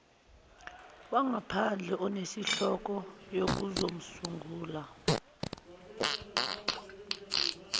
wangaphandle onenhloso yokuzosungula